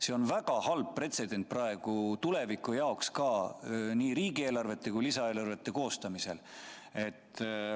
See on väga halb pretsedent tuleviku jaoks, nii riigieelarvete kui ka lisaeelarvete koostamisel.